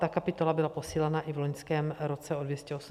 Ta kapitola byla posílena i v loňském roce o 280 milionů.